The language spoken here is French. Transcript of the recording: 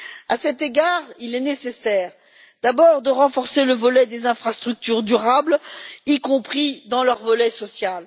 À cet égard, il est nécessaire, d'abord, de renforcer les infrastructures durables, y compris dans leur volet social.